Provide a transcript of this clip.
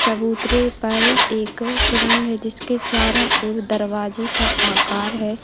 चबूतरे पर एक सुरंग है जिसके चारों ओर दरवाजे का आकार है।